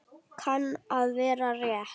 Kann að vera rétt.